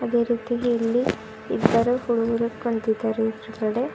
ಅದೇ ರೀತಿಲಿ ಇಲ್ಲಿ ಇಬ್ಬರು ಹುಡುಗರು ಕುಂತಿದ್ದಾರೆ ಎದುರುಗಡೆ.